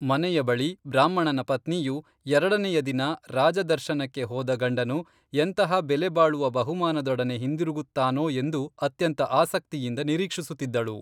ಮನೆಯ ಬಳಿ ಬ್ರಾಹ್ಮಣನ ಪತ್ನಿಯು ಎರಡನೆಯ ದಿನ ರಾಜದರ್ಶನಕ್ಕೆ ಹೋದ ಗಂಡನು, ಎಂತಹ ಬೆಲೆ ಬಾಳುವ ಬಹುಮಾನದೊಡನೆ ಹಿಂದಿರುಗುತ್ತಾನೋ ಎಂದು, ಅತ್ಯಂತ ಆಸಕ್ತಿಯಿಂದ ನಿರೀಕ್ಷಿಸುತ್ತಿದ್ದಳು